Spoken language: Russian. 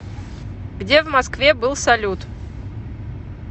где в москве был салют